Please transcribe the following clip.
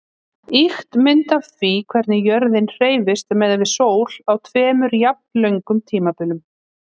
Ýkt mynd af því hvernig jörðin hreyfist miðað við sól á tveimur jafnlöngum tímabilum.